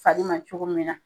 Fari ma cogo min na.